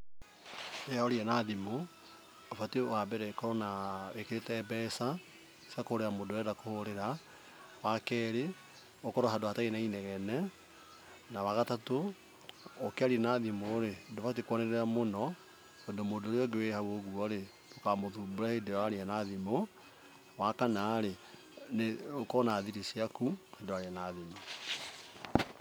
Rĩrĩa uraria na thimũ ũbatiĩ wa mbere ukorwo na ah wĩkĩrĩte mbeca cia kũhũrĩra mũndũ ũrĩa ũrenda kũhũrĩra. Wa kerĩ, ũkorwo handũ hatarĩ na inegene. Na wagatatũ, ũkĩaria na thimũ rĩ, ndũbataire kwanĩrĩra mũno tondũ mũndũ ũrĩa ũngĩ wi hau ũguo rĩ, ndũkamũthumbũre hĩndĩ ĩrĩa ũraria na thimu. Wa kana rĩ, nĩ ukorwo na thiri ciaku hĩndĩ ĩrĩa ũraria na thimũ